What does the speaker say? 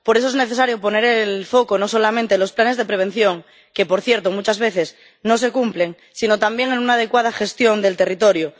por eso es necesario poner el foco no solamente en los planes de prevención —que, por cierto, muchas veces no se cumplen—, sino también en una adecuada gestión del territorio.